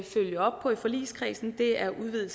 følge op på i forligskredsen er udvidet